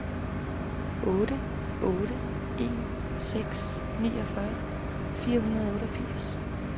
otte otte en seks niogfyrre fire hundrede og otteogfirs